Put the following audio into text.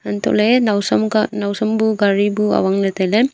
anto le nausam kah nausam bu gari bu awang le taile.